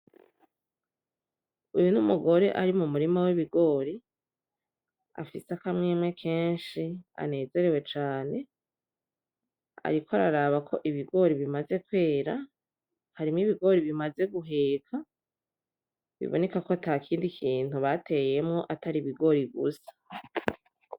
Uyu numugore ari mumurima wibigori, afise akamwemwe kenshi anezerewe cane, ariko araraba ko ibigori bimaze kwera, harimo ibigori bimaze guheka, biboneka ko ntakindi kintu bateyemwo atari ibigori gusa.